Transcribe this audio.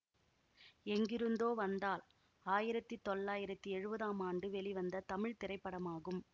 எங்கிருந்தோ வந்தாள் ஆயிரத்தி தொள்ளாயிரத்தி எழுவதாம் ஆண்டு வெளிவந்த தமிழ் திரைப்படமாகும்